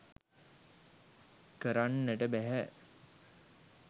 කරන්නට බැහැ.